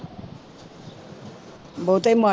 ਬਹੁਤੇ ਮਾੜੇ